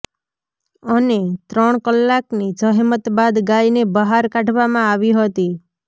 અને ત્રણ કલાકની જહેમત બાદ ગાયને બહાર કાઢવામાં આવી હતી